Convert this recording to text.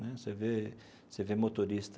Né você vê você vê motorista